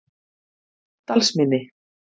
Dalsmynni